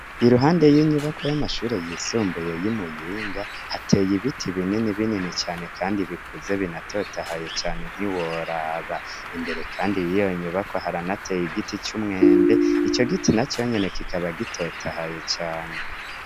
Iruhande y'inyubako y'amashure yisumbuye y'imuyinga hateye ibiti binini binini cane, kandi bikuze binatotahaye cane ntiworaba imbere, kandi yiyonyubako haranateye igiti c'umwembe ico giti na conyene kikaba gitotahaye cane.